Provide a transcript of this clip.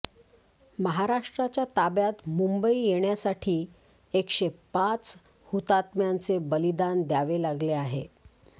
महाराष्ट्राच्या ताब्यात मुंबई येण्यासाठी एकशे पाच हुतात्म्यांचे बलिदान द्यावे लागले आहे